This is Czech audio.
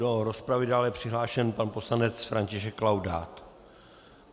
Do rozpravy je dále přihlášen pan poslanec František Laudát.